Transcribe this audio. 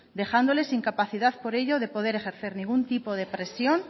dejándoles sin capacidad por ello de poder ejercer ningún tipo de presión